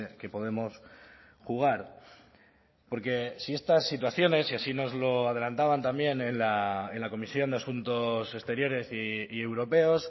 que podemos jugar porque si estas situaciones y así nos lo adelantaban también en la comisión de asuntos exteriores y europeos